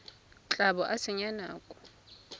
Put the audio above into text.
tla bo o senya nako